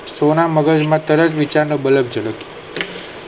સોના મગજ માં તરત વિચાર નો બલક ચડે.